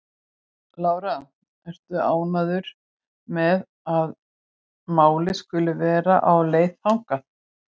Lára: Ertu ánægður með að málið skuli vera á leið þangað?